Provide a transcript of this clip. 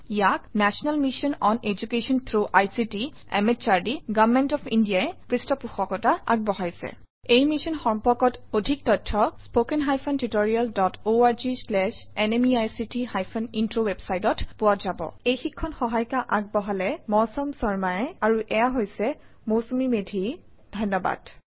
ইয়াক national mission on education through ICT MHRD government of India ই পৃষ্ঠপোষকতা আগবঢ়াইছে এই মিশ্যন সম্পৰ্কত অধিক তথ্য spoken hyphen tutorial dot org slash এনএমইআইচিত হাইফেন ইন্ট্ৰ ৱেবচাইটত পোৱা যাব এই প্ৰশিক্ষণ ইট দ্ৱ্ৰৰা যুগ্দান কৰা হইচে লাইব্ৰঅফিছ Writerঅত বিভিন্ন ভাশা লিখাত সুবিধা লওক ধন্য়বাদ